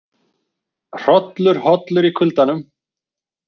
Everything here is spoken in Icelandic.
Hrollur hollur í kuldanum